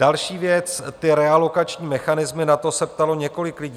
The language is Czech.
Další věc - ty realokační mechanismy, na to se ptalo několik lidí.